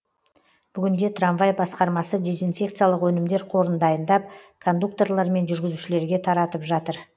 бүгінде трамвай басқармасы дезинфекциялық өнімдер қорын дайындап кондукторлар мен жүргізушілерге таратып жатыр